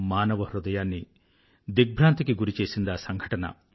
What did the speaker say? మానవ హృదయాన్ని దిగ్భ్రాంతికి గురిచేసిందా సంఘటన